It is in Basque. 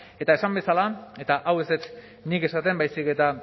eta esan bezala eta hau ez dut nik esaten baizik eta